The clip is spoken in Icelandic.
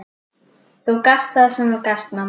Þú gafst það sem þú gast, mamma.